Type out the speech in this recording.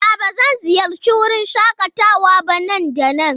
A'a, ba zan ziyarci wurin shakatawa ba nan da nan?